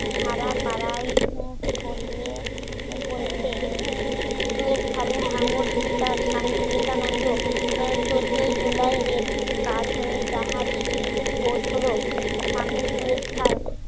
সারা পাড়ায় পরিয়ে পড়েছে সুয়েজ খালে হাঙ্গর শিকার স্বামী বিবেকানন্দ চোদ্দই জুলাইয়ের রেডটি পার হয়ে জাহাজ শুয়ে পউছল সামনে সুয়েজ খাল